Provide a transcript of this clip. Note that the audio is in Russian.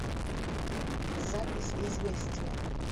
запись известия